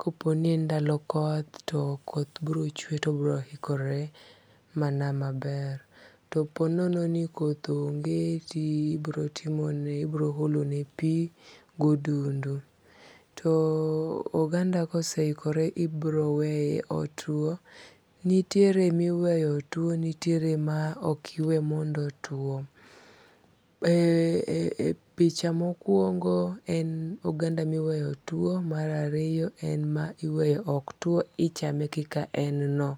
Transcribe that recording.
Kopo ni en ndalo koth to koth biro chwe to obiro hikore mana maber. To po nono ni koth onge to ibiro timo ni, ibiro olo ne pi godundu. To oganda kosehikore ibiro weye otuo. Nitiere miweyo tuo nitiere ma ok iwe mondo otuo. E picha mokwongo en oganda miweyo tuo. Mar ariyo en ma iweyo ok tuo. Ichame kaka en no.